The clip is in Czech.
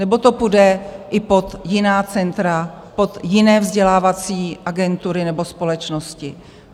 Nebo to půjde i pod jiná centra, pod jiné vzdělávací agentury nebo společnosti?